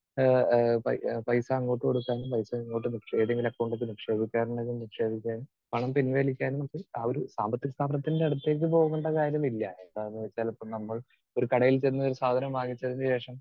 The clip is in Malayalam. സ്പീക്കർ 2 ഏഹ് പൈ പൈസ അങ്ങോട്ട് കൊടുക്കാനും പൈസ ഇങ്ങോട്ട് നിക്ഷേ ഏതെങ്കിലും അക്കൗണ്ടിലേക്ക് നിക്ഷേപിക്കാൻ ഉണ്ടെങ്കിൽ നിക്ഷേപിക്കാനും പണം പിൻവലിക്കാനും ഒക്കെ ആ ഒരു സാമ്പത്തിക സ്ഥാപനത്തിൻറെ അടുത്തേക്ക് പോകേണ്ട കാര്യമില്ല. എന്താന്നുവെച്ചാൽ ഇപ്പോൾ നമ്മൾ ഒരു കടയിൽ ചെന്ന് ഒരു സാധനം വാങ്ങിച്ചതിനുശേഷം